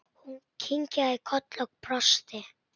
Hún kinkaði kolli og brosti.